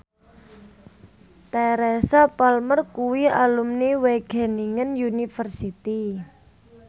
Teresa Palmer kuwi alumni Wageningen University